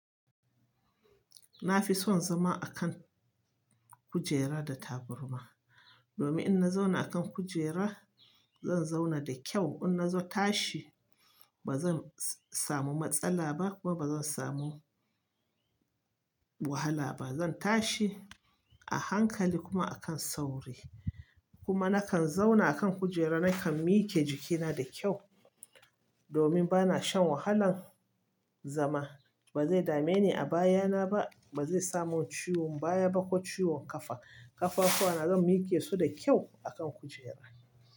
Na fi son zama a kan kujera da taburma. Domin in na zauna a kan kujera, zan zauna da kyau. In na zo tashi ba zan samu matsala ba kuma ba zan samu wahala ba. Zan tashi a hankali kuma a kan sauri. Kuma nakan zauna a kan kujera, nakan mike jikina da kyau. Domin ba na shan wahalan zama. Ba zai dame ni a baya na ba. Ba zai samun ciwon baya ba ko ciwon ƙafa. Ƙafafuwa na zan miƙe su da kyau a kan kujera.